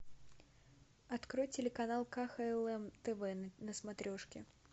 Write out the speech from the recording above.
открой телеканал кхлм тв на смотрешке